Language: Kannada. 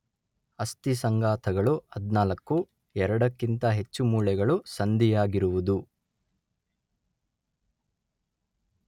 ಅಸ್ಥಿ ಸಂಘಾತಗಳು ಹದಿನಾಲ್ಕು, ಎರಡಕ್ಕಿಂತ ಹೆಚ್ಚು ಮೂಳೆಗಳು ಸಂಧಿಯಾಗಿರುವುದು